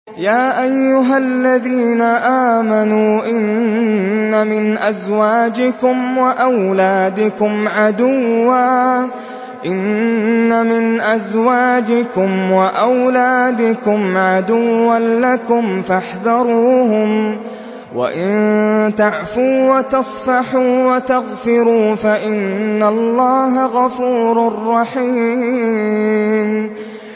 يَا أَيُّهَا الَّذِينَ آمَنُوا إِنَّ مِنْ أَزْوَاجِكُمْ وَأَوْلَادِكُمْ عَدُوًّا لَّكُمْ فَاحْذَرُوهُمْ ۚ وَإِن تَعْفُوا وَتَصْفَحُوا وَتَغْفِرُوا فَإِنَّ اللَّهَ غَفُورٌ رَّحِيمٌ